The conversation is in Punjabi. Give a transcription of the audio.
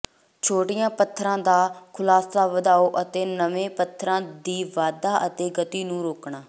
ਛੋਟੀਆਂ ਪੱਥਰਾਂ ਦਾ ਖੁਲਾਸਾ ਵਧਾਓ ਅਤੇ ਨਵੇਂ ਪੱਥਰਾਂ ਦੀ ਵਾਧਾ ਅਤੇ ਗਤੀ ਨੂੰ ਰੋਕਣਾ